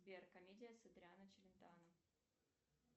сбер комедия с адриано челентано